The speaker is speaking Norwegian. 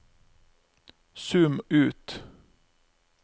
zoom ut